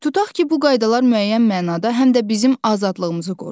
Tutaq ki, bu qaydalar müəyyən mənada həm də bizim azadlığımızı qoruyur.